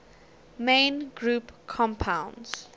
main group compounds